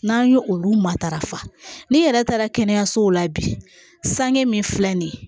N'an ye olu matarafa ni yɛrɛ taara kɛnɛyasow la bi sange min filɛ nin ye